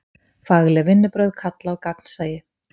Fagleg vinnubrögð kalla á gagnsæi.